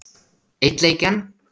Einn leik enn?